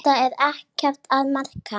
Þetta er ekkert að marka.